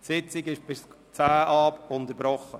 Die Sitzung ist bis 16.10 Uhr unterbrochen.